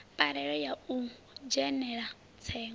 parole ya u dzhenela tsengo